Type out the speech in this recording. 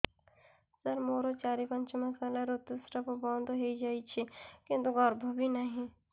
ସାର ମୋର ଚାରି ପାଞ୍ଚ ମାସ ହେଲା ଋତୁସ୍ରାବ ବନ୍ଦ ହେଇଯାଇଛି କିନ୍ତୁ ଗର୍ଭ ବି ନାହିଁ